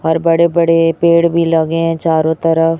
हर बड़े बड़े पेड़ भी लगे हैं चारों तरफ।